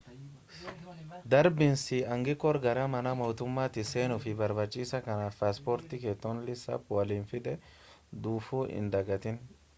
darbiinsi aangikoor gara mana mootummatti seenuuf nii barbaachisaa kanaaf paasporti kee toonlii saap waliin fidee dhufuu hin dagaatin